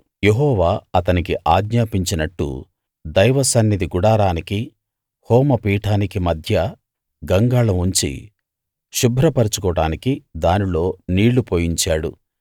యెహోవా అతనికి ఆజ్ఞాపించినట్టు దైవసన్నిధి గుడారానికి హోమ పీఠానికి మధ్య గంగాళం ఉంచి శుభ్రపరచుకోవడానికి దానిలో నీళ్లు పోయించాడు